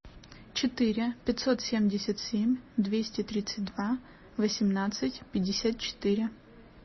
четыре пятьсот семьдесят семь двести тридцать два восемнадцать пятьдесят четыре